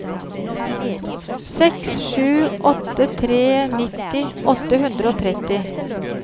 seks sju åtte tre nitti åtte hundre og tretti